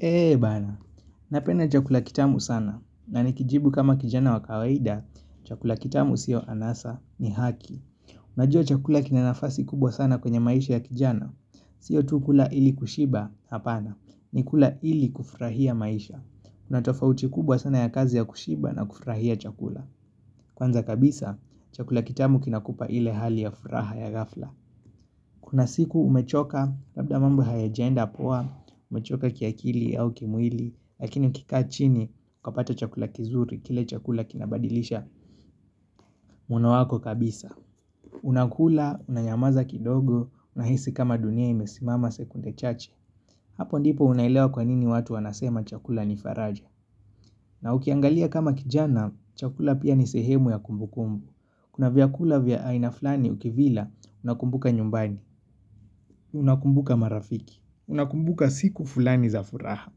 Eee bana, napenda chakula kitamu sana, na nikijibu kama kijana wa kawaida, chakula kitamu siyo anasa ni haki. Najua chakula kina nafasi kubwa sana kwenye maisha ya kijana, siyo tu kula ili kushiba, hapana, ni kula ili kufurahia maisha. Kuna tofauti kubwa sana ya kazi ya kushiba na kufurahia chakula. Kwanza kabisa, chakula kitamu kinakupa ile hali ya furaha ya ghafla. Kuna siku umechoka, labda mambo hayajaenda poa, umechoka kiakili au kimwili, lakini ukikaa chini, ukapata chakula kizuri, kile chakula kinabadilisha muono wako kabisa. Unakula, unanyamaza kidogo, unahisi kama dunia imesimama sekunde chache. Hapo ndipo unaelewa kwa nini watu wanasema chakula ni faraja. Na ukiangalia kama kijana, chakula pia ni sehemu ya kumbu kumbu. Kuna vyakula vya aina fulani ukivila, unakumbuka nyumbani, unakumbuka marafiki, unakumbuka siku fulani za furaha.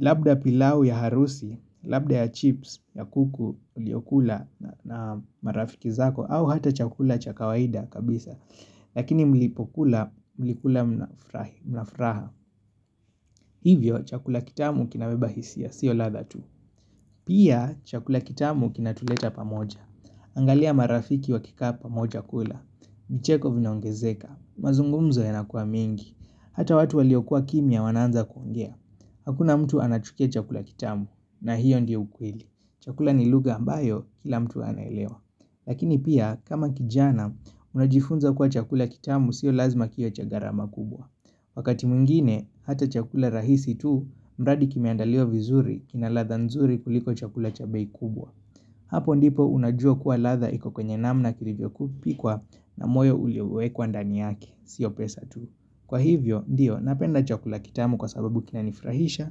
Labda pilau ya harusi, labda ya chips, ya kuku, uliokula na marafiki zako au hata chakula cha kawaida kabisa. Lakini mlipokula, mlikula na furaha, hivyo chakula kitamu kinabeba hisia, siyo ladha tu. Pia chakula kitamu kina tuleta pamoja, angalia marafiki wakikaa pamoja kula. Micheko vinaongezeka, mazungumzo yanakua mingi. Hata watu waliokua kimya wanaanza kuongea. Hakuna mtu anachukia chakula kitamu, na hiyo ndio ukweli. Chakula ni lugha ambayo kila mtu anaelewa. Lakini pia, kama kijana, unajifunza kuwa chakula kitamu sio lazima kiwe cha gharama kubwa. Wakati mwingine, hata chakula rahisi tu, mradi kimeandaliwa vizuri, kina ladha nzuri kuliko chakula cha bei kubwa. Hapo ndipo unajua kuwa ladha iko kwenye namna kilivyo kupikwa na moyo uliowekwa ndani yake, siyo pesa tu. Kwa hivyo, ndio, napenda chakula kitamu kwa sababu kinanifurahisha,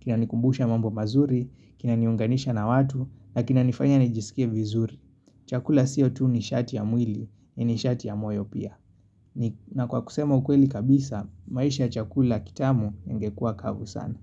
kinanikumbusha mambo mazuri, kinaniunganisha na watu, na kinanifanya nijisikie vizuri. Chakula siyo tu nishati ya mwili, ni nishati ya moyo pia. Na kwa kusema ukweli kabisa, maisha ya chakula kitamu ingekua kavu sana.